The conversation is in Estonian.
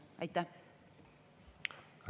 Aitäh!